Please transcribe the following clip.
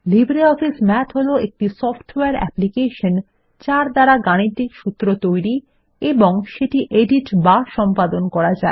LibreOffice math হল একটি software application যার দ্বারা গাণিতিক সূত্র তৈরী এবং সেটি এডিট বা সম্পাদন করা যায়